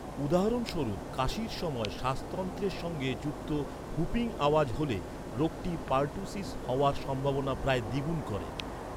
উদাহরণস্বরূপ, কাশির সময় শ্বাসতন্ত্রের সঙ্গে যুক্ত ‘হুপিং’ আওয়াজ হ’লে রোগটি পারটুসিস হওয়ার সম্ভাবনা প্রায় দ্বিগুণ করে।